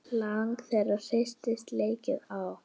Lag það heyrist leikið á.